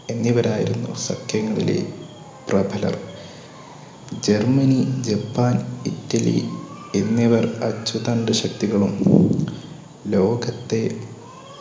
എന്നിവരായിരുന്നു സഖ്യങ്ങളിലെ പ്രഭലർ. ജർമ്മനി ജപ്പാൻ ഇറ്റലി എന്നിവർ അച്ചുതണ്ട് ശക്തികളും ലോകത്തെ